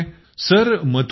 हे कुठे येतं